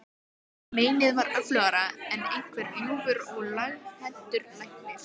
En meinið var öflugra en einhver ljúfur og laghentur læknir.